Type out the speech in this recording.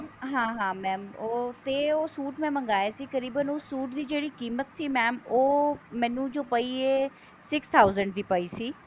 ਹਾਂ ਹਾਂ ਤੇ ਉਹ suit ਮੈਂ ਮਗਾਇਆ ਸੀ ਕਰੀਬਨ ਉਹ suit ਦੀ ਜਿਹੜੀ ਕੀਮਤ ਸੀ mam ਉਹ ਮੈਨੂੰ ਜੋ ਪਈ ਹੈ six thousand ਦੀ ਪਈ ਸੀ